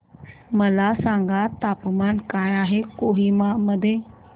मला सांगा तापमान काय आहे कोहिमा मध्ये